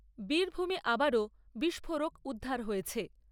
বীরভূমে আবারও বিস্ফোরক উদ্ধার হয়েছে।